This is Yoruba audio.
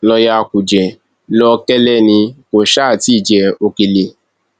lọọyà kúnjẹ lọkẹlẹ ni kò sáà ti jẹ òkèlè